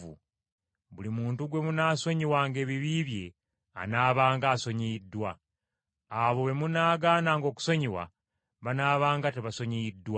Buli muntu gwe munaasonyiwanga ebibi bye anaabanga asonyiyiddwa. Abo be munaagaananga okusonyiwa, banaabanga tebasonyiyiddwa.”